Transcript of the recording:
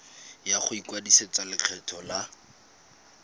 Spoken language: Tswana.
ya go ikwadisetsa lekgetho la